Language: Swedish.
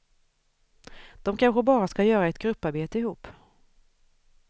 De kanske bara ska göra ett grupparbete ihop.